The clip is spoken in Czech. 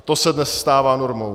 A to se dnes stává normou.